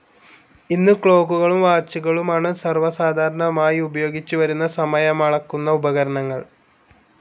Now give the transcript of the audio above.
ഇന്ന് ക്ലോക്കുകളും വാച്ചുകളുമാണ് സർവ്വ സാധാരണമായി ഉപയോഗിച്ചുവരുന്ന സമയമളക്കുന്ന ഉപകരണങ്ങൾ.